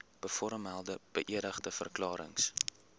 bovermelde beëdigde verklarings